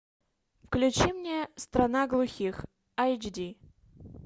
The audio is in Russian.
включи мне страна глухих айч ди